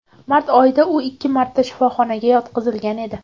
Mart oyida u ikki marta shifoxonaga yotqizilgan edi .